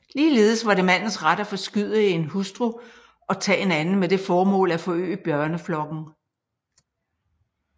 Ligeledes var det mandens ret at forskyde en hustru og tage en anden med det formål at forøge børneflokken